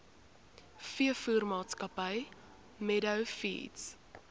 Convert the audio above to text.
veevoermaatskappy meadow feeds